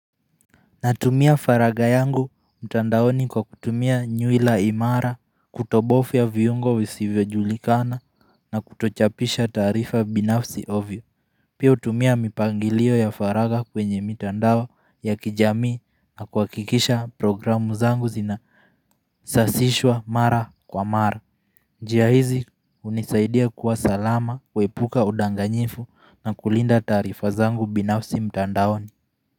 Natumia faraga yangu mtandaoni kwa kutumia nyuila imara, kutobofia viyungo wisivyo julikana na kutochapisha tarifa binafsi ovyo. Pia utumia mipangilio ya faraga kwenye mitandao ya kijami na kwa kikisha programu zangu zina sasishwa mara kwa mara. Njia hizi unisaidia kuwa salama kwa epuka udanganyifu na kulinda tarifa zangu binafsi mtandaoni.